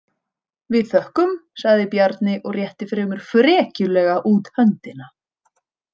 Við þökkum, sagði Bjarni og rétti fremur frekjulega út höndina.